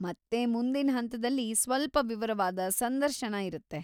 ಮತ್ತೆ ಮುಂದಿನ್ ಹಂತದಲ್ಲಿ ಸ್ವಲ್ಪ ವಿವರವಾದ ಸಂದರ್ಶನ ಇರತ್ತೆ.